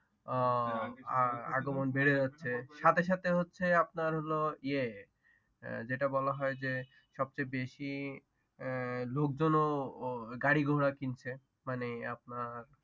আহ আগমন বেড়ে যাচ্ছে, সাথে সাথে হচ্ছে আাপনার হলো ইয়ে যেটা বলা হয় যে সবচেয়ে বেশি লোকজনও গাড়িঘোড়া কিনছে মানে আপনার